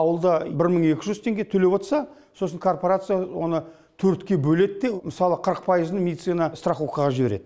ауылда бір мың екі жүз теңге төлеп отырса сосын корпорация оны төртке бөледі де мысалы қырық пайызын медицина страховкаға жібереді